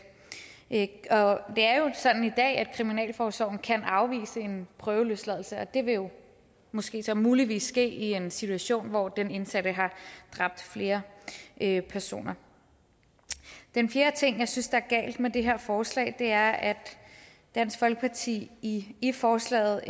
det er jo sådan i dag at kriminalforsorgen kan afvise en prøveløsladelse og det vil måske så muligvis ske i en situation hvor den indsatte har dræbt flere personer den fjerde ting jeg synes er galt med det her forslag er at dansk folkeparti i i forslaget